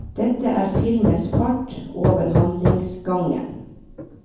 Det er filmens fart over handlingsgangen.